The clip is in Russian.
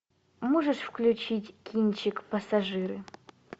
можешь включить кинчик пассажиры